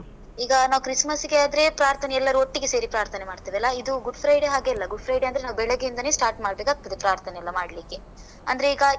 ಈಗ ನಾವ್ christmas ಗೆ ಆದ್ರೆ ಪ್ರಾರ್ಥನೆ ಎಲ್ಲರೂ ಒಟ್ಟಿಗೆ ಸೇರಿ ಪ್ರಾರ್ಥನೆ ಮಾಡ್ತೇವಲ್ಲ, ಇದು Good Friday ಹಾಗೆ ಅಲ್ಲ, Good Friday ಅಂದ್ರೆ ನಾವು ಬೆಳಗ್ಗೆ ಇಂದನೆ start ಮಾಡಬೇಕಾಗ್ತದೆ ಪ್ರಾರ್ಥನೆ ಎಲ್ಲ ಮಾಡ್ಲಿಕ್ಕೆ. ಅಂದ್ರೆ ಈಗ.